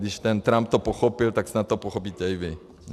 Když ten Trump to pochopil, tak snad to pochopíte i vy.